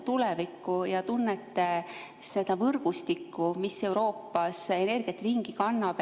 Te tunnete seda võrgustikku, mis Euroopas energiat ringi kannab.